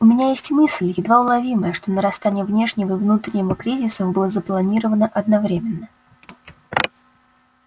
у меня есть мысль едва уловимая что нарастание внешнего и внутреннего кризисов было запланировано одновременно